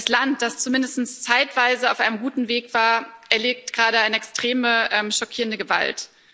Das Land, das zumindest zeitweise auf einem guten Weg war, erlebt gerade eine extreme, schockierende Gewalt.